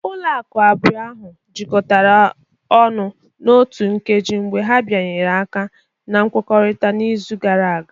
Ụlọ akụ abụọ ahụ jikọtara ọnụ n'otu nkeji mgbe ha bịanyere aka na nkwekọrịta n'izu gara aga